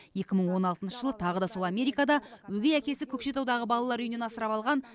екі мың он алтыншы жылы тағы да сол америкада өгей әкесі көкшетаудағы балалар үйінен асырап алған